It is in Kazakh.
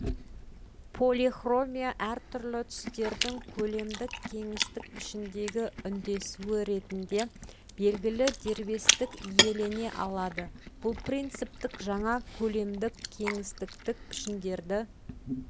полихромия әртүрлі түстердің көлемдік-кеңістік пішіндегі үндесуі ретінде белгілі дербестік иелене алады бұл принциптік жаңа көлемдік-кеңістіктік пішіндерді